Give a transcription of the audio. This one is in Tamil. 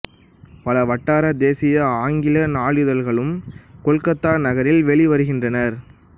பல வட்டார தேசிய ஆங்கில நாளிதழ்களும் கொல்கத்தா நகரில் வெளிவருகின்றன